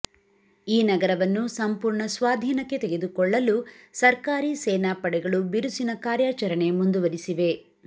ಈ ನಗರವನ್ನು ಸಂಪೂರ್ಣ ಸ್ವಾಧೀನಕ್ಕೆ ತೆಗೆದುಕೊಳ್ಳಲು ಸರ್ಕಾರಿ ಸೇನಾ ಪಡೆಗಳು ಬಿರುಸಿನ ಕಾರ್ಯಾಚರಣೆ ಮುಂದುವರಿಸಿವೆ